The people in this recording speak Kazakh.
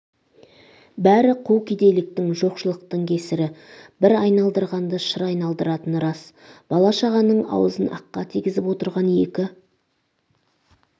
бәрі қу кедейліктің жоқшылықтың кесір бір айналдырғанды шыр айналдыратыны рас бала-шағаның аузын аққа тигізіп отырған екі